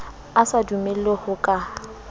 a sa dumele ho ka